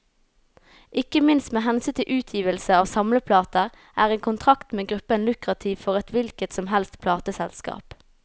Ikke minst med hensyn til utgivelse av samleplater, er en kontrakt med gruppen lukrativt for et hvilket som helst plateselskap.